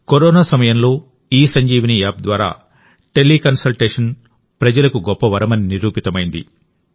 corona సమయంలోఇసంజీవని app ద్వారా teleconsultation ప్రజలకు గొప్ప వరమని నిరూపితమైంది